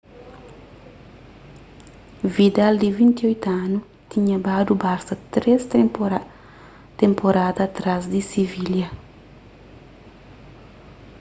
vidal di 28 anu tinha badu barsa três tenporada atrás di sivilha